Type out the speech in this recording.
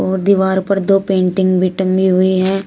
और दीवार पर दो पेंटिंग भी टंगी हुई है।